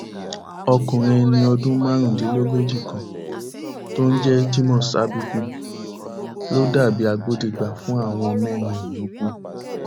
ọkùnrin ẹni ọdún márùndínlógójì kan tó ń jẹ jimoh sabiku ló dà bíi agbódegbà fún àwọn mẹrin yòókù